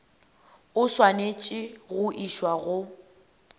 o swanetše go išwa go